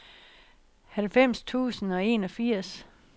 halvfems tusind og enogfirs